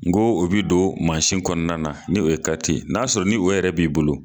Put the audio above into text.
N go, o bi don kɔnɔna na, ni o ye n y'a sɔrɔ, ni o yɛrɛ b'i bolo